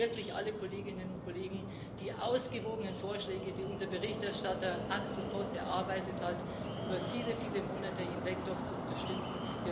Ich bitte wirklich alle Kolleginnen und Kollegen, die ausgewogenen Vorschläge, die unser Berichterstatter Axel Voss über viele, viele Monate hinweg erarbeitet hat, doch zu unterstützen.